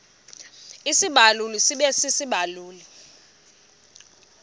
isibaluli sibe sisibaluli